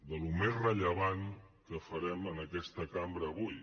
del més rellevant que farem en aquesta cambra avui